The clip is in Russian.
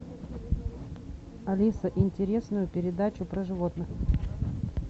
алиса интересную передачу про животных